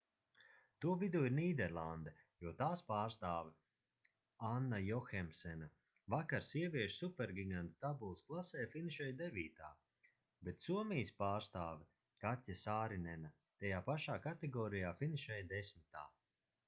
to vidū ir nīderlande jo tās pārstāve anna johemsena vakar sieviešu supergiganta tabulas klasē finišēja devītā bet somijas pārstāve katja sārinena tajā pašā kategorijā finišēja desmitā